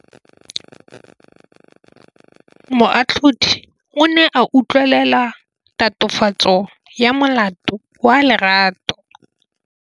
Moatlhodi o ne a utlwelela tatofatsô ya molato wa Lerato.